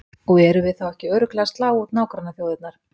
Og erum við þá ekki örugglega að slá út nágrannaþjóðirnar?